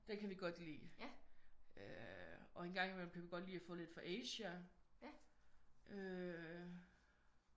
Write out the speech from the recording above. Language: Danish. Den kan vi godt lide og engang imellem kan vi godt lide at få lidt fra Asia øh